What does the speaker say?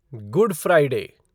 good Friday